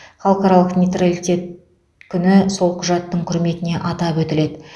халықаралық нейтралитет күні сол құжаттың құрметіне атап өтіледі